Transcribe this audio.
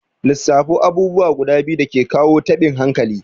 Lissafo abubuwa guda biyu dake kawo taɓin hankali?